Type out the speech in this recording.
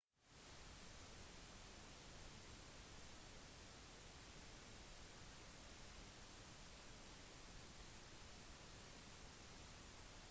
både vannvolumet blir høyere og fossen mer dramatisk i regntiden fra november til mars